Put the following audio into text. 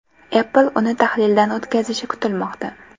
Apple uni tahlildan o‘tkazishi kutilmoqda.